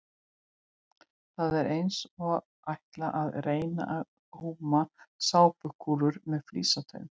Þetta er eins og að ætla að reyna að góma sápukúlur með flísatöng!